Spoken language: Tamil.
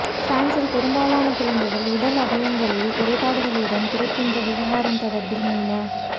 பிரான்ஸில் பெரும்பாலான குழந்தைகள் உடல் அவயவங்களில் குறைப்பாட்டுடன் பிறக்கின்ற விவகாரம் தொடர்பில் மீண